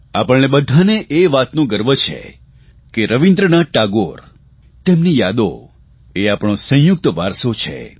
આપણે બધાને એ વાતનો ગર્વ છે કે રવીન્દ્રનાથ ટાગોર તેમની યાદો એ આપણો સંયુક્ત વારસો છે